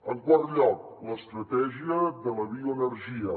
en quart lloc l’estratègia de la bioenergia